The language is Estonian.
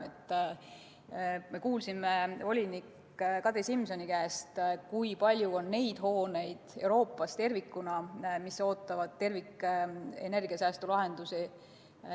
Me kuulsime volinik Kadri Simsoni käest, kui palju on Euroopas hooneid, mis ootavad terviklikke energiasäästu lahendusi.